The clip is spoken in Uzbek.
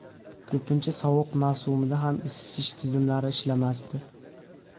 Ko‘pincha sovuq mavsumda ham isitish tizimlari ishlamasdi.